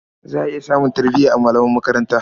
Za a iya samun tarbiya a malaman makaranta.